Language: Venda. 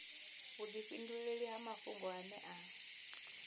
vhudifhinduleli ha mafhungo ane a